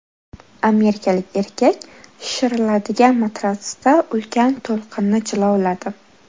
Amerikalik erkak shishiriladigan matratsda ulkan to‘lqinni jilovladi .